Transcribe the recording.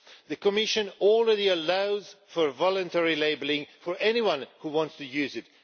The Commission already allows for voluntary labelling for anyone who wants to use it.